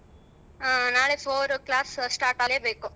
ಹ್ಮ್ ನಾಳೆ class start ಆಗಲೇಬೇಕು.